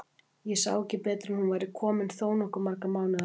Og ég sá ekki betur en hún væri komin þó nokkuð marga mánuði á leið!